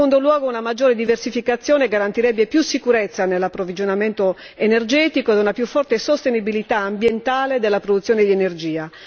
In secondo luogo, una maggiore diversificazione garantirebbe più sicurezza nell'approvvigionamento energetico e una più forte sostenibilità ambientale della produzione di energia.